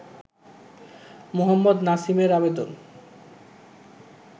মোহাম্মদ নাসিমের আবেদন